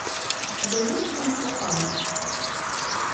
у тебя есть кунг фу панда